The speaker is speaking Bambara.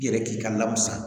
I yɛrɛ k'i ka lamis